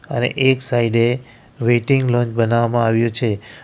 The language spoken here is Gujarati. અને એક સાયડે વેઇટિંગ લોન્જ બનાવવામાં આવ્યું છે.